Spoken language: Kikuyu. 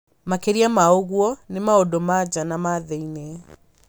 Makĩria ma ũguo, nĩ maũndũ ma nja na ma thĩinĩ.